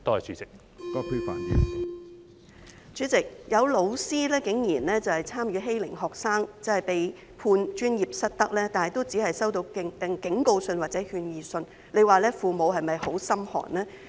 主席，有老師因參與欺凌學生而被判專業失德，但竟然只是收到警告信或勸諭信，這樣父母是否感到很心寒呢？